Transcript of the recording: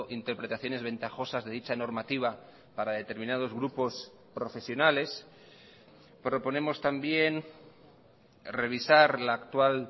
interpretaciones ventajosas de dicha normativa para determinados grupos profesionales proponemos también revisar la actual